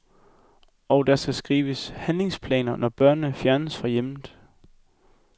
Og der skal skrives handlingsplaner, når børn fjernes fra hjemmet.